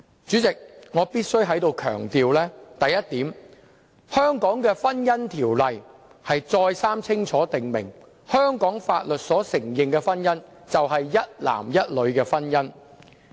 主席，我必須強調一點，香港的《婚姻條例》清楚訂明，香港法律所承認的婚姻是一男一女的婚姻。